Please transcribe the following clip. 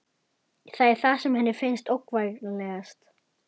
Það er það sem henni finnst ógnvænlegast.